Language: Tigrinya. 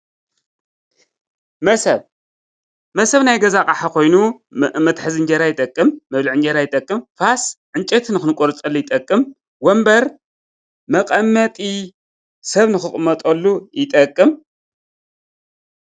መሶብ መሶብ ናይ ገዛ ኣቑሓ ኾይኑ መትሐዚ እንጀራ ይጠቅም፣ መብልዒ እንጀራ ይጠቅም፡፡ ፋስ እንጨይቲ ንኽቆርፀሉ ይጠቅም፡፡ ወንበር መቐመጢ ሰብ ንኽቕመጠሉ ይጠቅም፡፡